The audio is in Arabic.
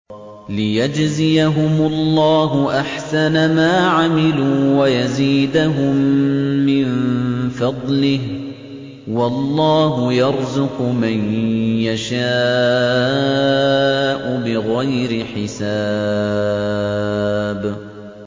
لِيَجْزِيَهُمُ اللَّهُ أَحْسَنَ مَا عَمِلُوا وَيَزِيدَهُم مِّن فَضْلِهِ ۗ وَاللَّهُ يَرْزُقُ مَن يَشَاءُ بِغَيْرِ حِسَابٍ